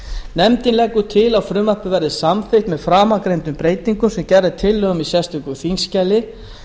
nefndin leggur til að frumvarpið verði samþykkt með framangreindum breytingum sem gerð er tillaga um í sérstöku þingskjali